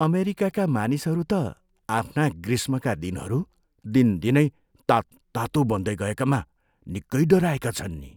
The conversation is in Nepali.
अमेरिकाका मानिसहरू त आफ्ना ग्रीष्मका दिनहरू दिनदिनै तात्तातो बन्दै गएकामा निकै डराएका छन् नि।